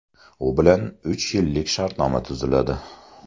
U bilan uch yillik shartnoma tuziladi.